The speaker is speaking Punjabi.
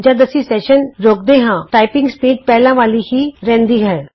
ਜਦ ਅਸੀਂ ਸੈਸ਼ਨ ਰੋਕਦੇ ਹਾਂ ਟਾਈਪਿੰਗ ਸਪੀਡ ਪਹਿਲਾਂ ਵਾਲੀ ਹੀ ਰਹਿੰਦੀ ਹੇ